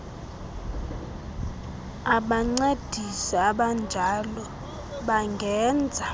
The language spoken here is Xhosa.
abancedisi abanjalo bangenza